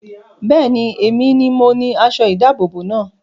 Bẹ́ẹ̀ni, èmi ni mo ni aṣọ ìdábòbò náà